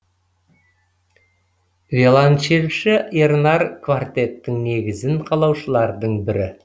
виолончельші ернар квартеттің негізін қалаушылардың бірі